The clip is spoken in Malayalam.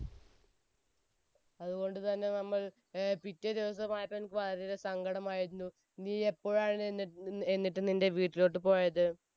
അതുകൊണ്ട് തന്നെ നമ്മൾ ഏർ പിറ്റേ ദിവസമായപ്പോഴേയ്ക്കും ഭയങ്കര സങ്കടമായിരുന്നു, നീ എപ്പോഴാണ് എന്നി~എന്നിട്ട് നിന്റെ വീട്ടിലോട്ട് പോയത്?